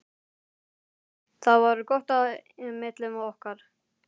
Það var gott á milli okkar.